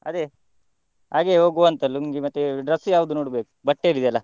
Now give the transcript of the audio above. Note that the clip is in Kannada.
ಅದೇ ಹಾಗೆಯೆ ಹೋಗುವಂತ ಲುಂಗಿ ಮತ್ತೆ dress ಯಾವ್ದು ನೋಡ್ಬೇಕು, ಬಟ್ಟೆ ಹೇಳಿದ್ಯಲ್ಲ.